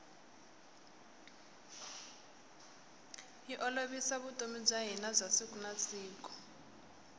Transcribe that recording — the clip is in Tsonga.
yi olovisa vutomi bya hina bya siku na siku